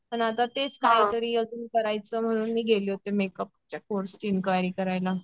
पण आता तेच काहीतरी अजून करायचं म्हणून मी गेले होते मेकअपच्या कोर्सची इन्क्वायरी करायला.